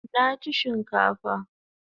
Nachi chinkafa